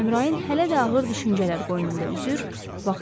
Amma Əmrain hələ də ağır düşüncələr qoynunda üzür,